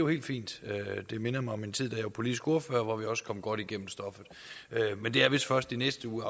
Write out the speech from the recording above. helt fint det minder mig om min tid som politisk ordfører hvor vi også kom godt igennem stoffet men det er vist først i næste uge